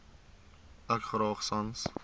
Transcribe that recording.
ek graag sans